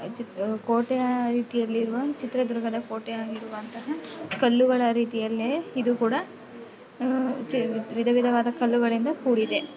ಕೋಟೆಯ ರೀತಿಯ ಯಲ್ಲಿರುವ ಚಿತ್ರದುರ್ಗದ ಕೋಟೆ ಹಾಗೆ ಇರುವಂಥ ಕಲ್ಲುಗಳ ರೀತಿಯಲ್ಲೇ ಇದು ಕೂಡ ವಿಧ ವಿಧವಾದ ಕಲ್ಲುಗಳಿಂದ ಕೂಡಿದೆ.